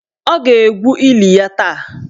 Ọ ga-egwu eli ya taa.